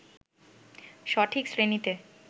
সঠিক শ্রেণিতে